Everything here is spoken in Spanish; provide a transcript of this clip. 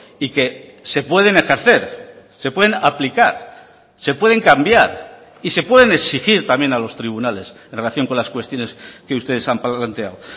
y que se pueden ejercer se pueden aplicar se pueden cambiar y se pueden exigir también a los tribunales en relación con las cuestiones que ustedes han planteado